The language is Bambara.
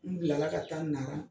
N bila la ka taa Nara